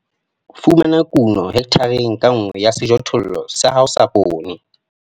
4. Fumana kuno hekthareng ka nngwe ya sejothollo sa hao sa poone.